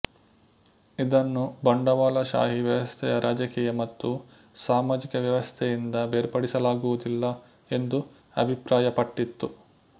ಇದನ್ನು ಬಂಡವಾಳಶಾಹಿ ವ್ಯವಸ್ಥೆಯ ರಾಜಕೀಯ ಮತ್ತು ಸಾಮಾಜಿಕ ವ್ಯವಸ್ಥೆಯಿಂದ ಬೇರ್ಪಡಿಸಲಾಗುವುದಿಲ್ಲ ಎಂದು ಅಭಿಪ್ರಾಯಪಟ್ಟಿತು